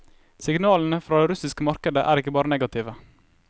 Signalene fra det russiske markedet er ikke bare negative.